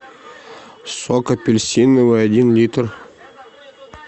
сок апельсиновый один литр